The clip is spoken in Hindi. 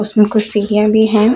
उसमें कुछ सीढ़िया भी हैं।